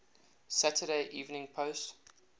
saturday evening post